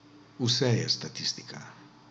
Vse je statistika.